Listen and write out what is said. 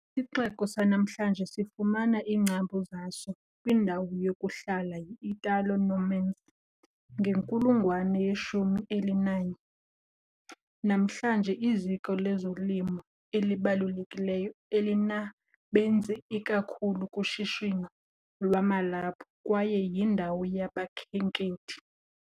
Isixeko sanamhlanje sifumana iingcambu zaso kwindawo yokuhlala yi-Italo-Normans ngenkulungwane yeshumi elinanye. Namhlanje, liziko lezolimo elibalulekileyo, elinabenzi ikakhulu kushishino lwamalaphu, kwaye yindawo yabakhenkethi.